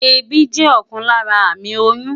Èébì jẹ́ ọ̀kan lára àmì oyún.